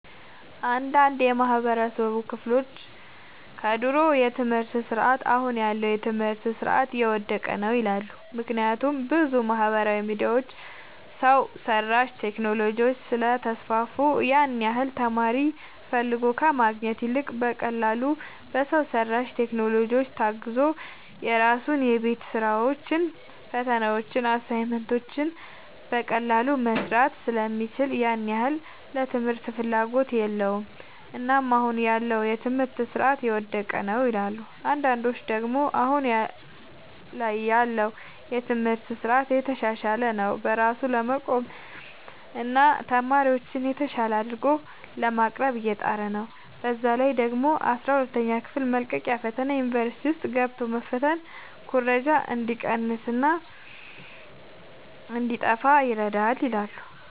አንዳንድ የማህበረሰቡ ክፍሎች ከድሮ የትምህርት ስርዓት አሁን ያለው የትምህርት ስርዓት የወደቀ ነው ይላሉ። ምክንያቱም ብዙ ማህበራዊ ሚዲያዎች፣ ሰው ሰራሽ ቴክኖሎጂዎች ስለተስፋፉ ያን ያህል ተማሪ ፈልጎ ከማግኘት ይልቅ በቀላሉ በሰው ሰራሽ ቴክኖሎጂዎች ታግዞ የራሱን የቤት ስራዎችን፣ ፈተናዎችን፣ አሳይመንቶችን በቀላሉ መስራት ስለሚችል ያን ያህል ለትምህርት ፍላጎት የለውም። እናም አሁን ያለው የትምህርት ስርዓት የወደቀ ነው ይላሉ። አንዳንዶች ደግሞ አሁን ላይ ያለው የትምህርት ስርዓት እየተሻሻለ ነው። በራሱ ለመቆምና ተማሪዎችን የተሻለ አድርጎ ለማቅረብ እየጣረ ነው። በዛ ላይ ደግሞ የአስራ ሁለተኛ ክፍል መልቀቂያ ፈተና ዩኒቨርሲቲ ውስጥ ገብቶ መፈተን ኩረጃ እንዲቀንስና እንዲጣፋ ይረዳል ይላሉ።